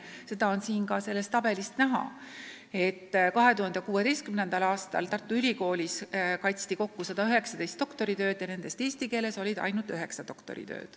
Seda on ka sellest tabelist näha, et 2016. aastal kaitsti Tartu Ülikoolis kokku 119 doktoritööd ja nendest eesti keeles oli ainult üheksa.